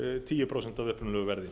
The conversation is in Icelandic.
tíu prósent af upprunalegu verði